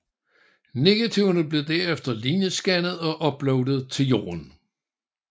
Negativerne blev derefter linjescannet og uploaded til Jorden